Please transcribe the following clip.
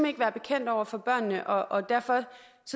ikke være bekendt over for børnene og derfor